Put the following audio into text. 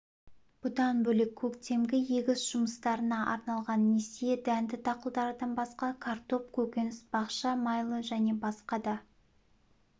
бұдан бөлек көктемгі егіс жұмыстарына арналған несие дәнді дақылдардан басқа картоп көкөніс-бақша майлы және басқа да